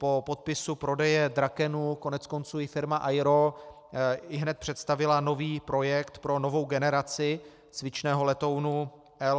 Po podpisu prodeje Drakenu koneckonců i firma AERO ihned představila nový projekt pro novou generaci cvičného letounu L-39.